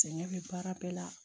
Sɛgɛn bɛ baara bɛɛ la